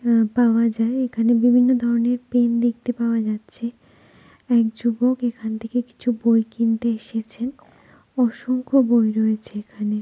অ্যাঁ পাওয়া যায় এখানে বিভিন্ন ধরনের পেন দেখতে পাওয়া যাচ্ছে এক যুবক এখান থেকে কিছু বই কিনতে এসেছেন অসংখ্য বই রয়েছে এখানে।